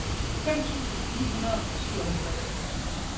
fem tusind ni hundrede og syvoghalvtreds